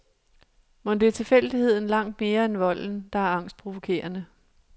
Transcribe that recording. Mon det er tilfældigheden langt mere end volden, der er angstprovokerende.